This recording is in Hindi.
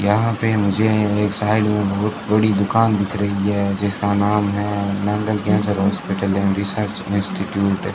यहां पे मुझे एक साइड में बहोत बड़ी दुकान दिख रही है जिसका नाम है cancer hospital and research institute.